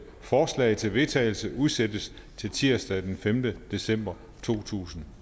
forslag til vedtagelse udsættes til tirsdag den femte december to tusind